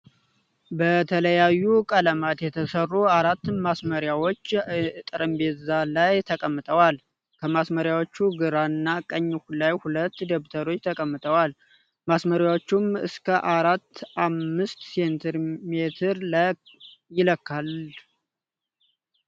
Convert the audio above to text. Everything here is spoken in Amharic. በተለያየ ቀለም የተሰሩ አራት ማስመሬዎች እጠረምጼዛ ላይ ተቀምጠዋል ። ከማስመሬዎቹ ግራ እና ቀኝ ላይ ሁለት ደብተሮች ተቀምጠዋል ። ማስመሬያዎቹም እስከ አስራ አምስት ሴንቲ ሜትር ይለካል ።